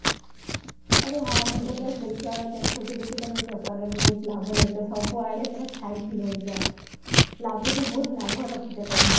ଆରେ ହଁ ମୁଁ ତା ବାସ ଦେଖିବା ଦେଖୁଥିଲି କି ତମେ ବେପାର ରେ ବହୁତ ଲାଭ ରେ ଅଛ ସବୁ ଆଡେ ପୁରା ଛାଇ କି ରହିଛ, ଲାଗୁଚି ବହୁତ ଲାଭ ରଖୁଛ ତମେ